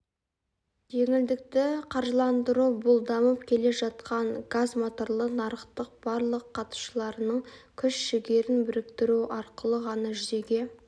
жеңілдікті қаржыландыру бұл дамып келе жатқан газмоторлы нарықтың барлық қатысушыларының күш-жігерін біріктіру арқылы ғана жүзеге